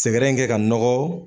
Sɛgɛrɛ kɛ ka nɔgɔ.